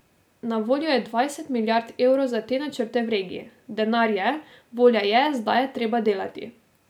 Na voljo je dvajset milijard evrov za te načrte v regiji, denar je, volja je, zdaj je treba delati.